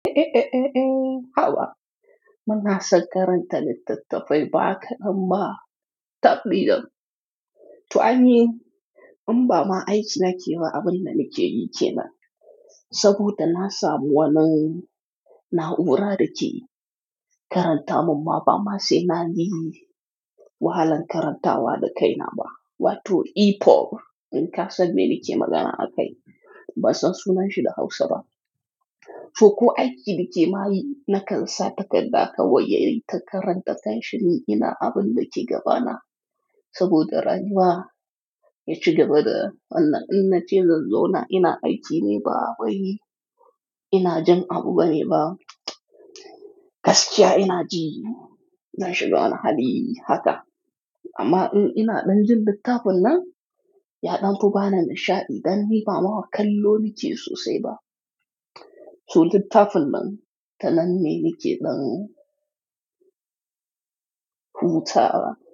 Eh, eh, eh, eh, eh, haba! Muna son karanta littattafai ba kaɗan ba, tabɗi jam. To ai ni, in ba ma aiki na keba, abin da nake yi ke nan. Saboda na samu wani na'ura da ke karanta mun ma ba ma sai na yi wahalan karantawa da kai na ba, wato e-poor. In ka san me nike magana a kai, ba san sunan shi da Hausa ba. To ko aiki nake ma yi, na kan sa takarɗa kawai ya yi ta karanta kanshi ni ina abin da ke gaba na. Saboda rani ba ya cika bada, Allah in na ce zan zauna ina aiki ne ba wai ina jin abu bane ba. Gaskiya ina ji, zan shiga wani hali haka. Amma in ina ɗan jin littafin nan, ya ɗauko bani nishaɗi dan ni ba mawa kallo nike sosai ba. To littafin nan, ta nan ne nike zan hutawa.